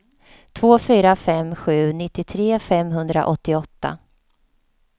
två fyra fem sju nittiotre femhundraåttioåtta